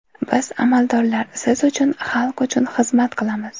Biz amaldorlar siz uchun, xalq uchun xizmat qilamiz.